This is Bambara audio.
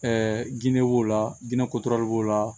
Ɛɛ ginde b'o la dinɛ kotoro b'o la